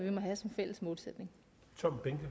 få